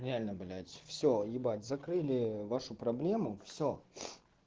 реально блять всё ебать закрыли вашу проблему всё